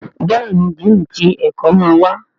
Béèni Dínni tí ẹkọ má wá.